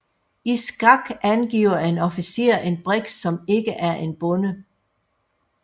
I skak angiver en officer en brik som ikke er en bonde